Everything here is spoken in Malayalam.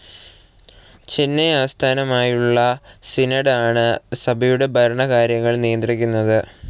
ചെന്നെ ആസ്ഥാനമായുള്ള സിനോഡ്‌ ആണ് സഭയുടെ ഭരണകാര്യങ്ങൾ നിയന്ത്രിക്കുന്നത്.